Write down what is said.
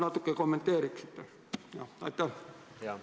Palun kommenteerige seda natukene!